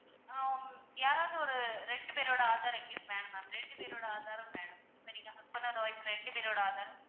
ஆஹ் யாராவது ஒரு ரெண்டு பேரோட ஆதார் எங்களுக்கு வேணும் ma'am ரெண்டு பேரோட ஆதாரும் வேணும் சரிங்களா? husband and wife ரெண்டு பேரோட ஆதாரும்.